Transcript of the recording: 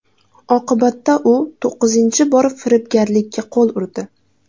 Oqibatda u to‘qqizinchi bor firibgarlikka qo‘l urdi.